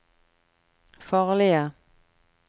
farlige